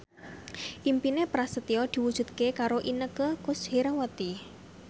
impine Prasetyo diwujudke karo Inneke Koesherawati